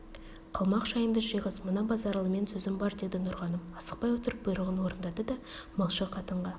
қалмақ шайыңды жиғыз мына базаралымен сөзім бар деді нұрғаным асықпай отырып бұйрығын орындады да малшы қатынға